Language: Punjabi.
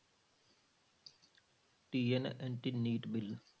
TN anti NEET bill